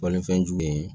Balifɛnjugu ye